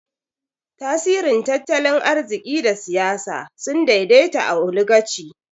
Tasirin tattalin arziki da siyasa sun daidaita a Oligaci.